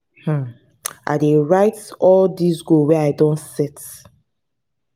um i dey write down all di goals wey i don set.